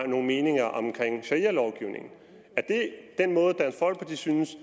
nogle meninger om sharialovgivningen er det den måde dansk folkeparti synes